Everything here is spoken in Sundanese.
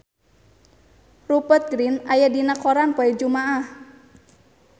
Rupert Grin aya dina koran poe Jumaah